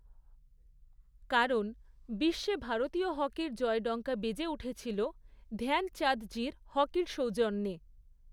কারণ, বিশ্বে ভারতীয় হকির জয়ডঙ্কা বেজে উঠেছিল ধ্যানচাঁদজির হকির সৌজন্যে।